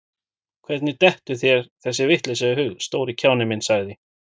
Hvernig dettur þér þessi vitleysa í hug, stóri kjáninn minn sagði